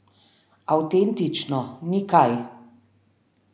Avtentično, ni kaj!